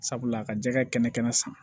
Sabula a ka jɛgɛ kɛnɛ kɛnɛ san